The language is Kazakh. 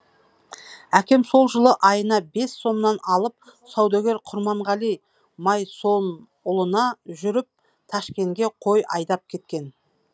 әкем сол жылы айына бес сомнан алып саудагер құрманғали майсонұлына жүріп ташкенге қой айдап кеткен